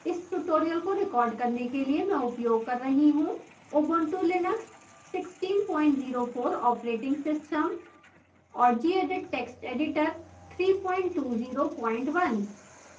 इस tutorial को record करने के लिए मैं उपयोग कर रही हूँ ubuntu linux 1604 operating system और gedit text editor 3201